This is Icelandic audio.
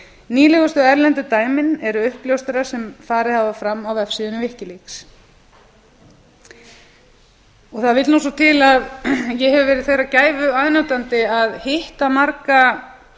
nýlegustu erlendu dæmin eru uppljóstranir sem farið hafa fram á vefsíðunni wikileaks það vill nú svo til að ég hef verið þeirrar gæfu aðnjótandi að hitta marga